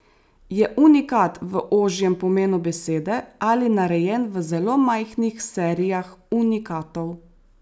Je unikat v ožjem pomenu besede ali narejen v zelo majhnih serijah unikatov.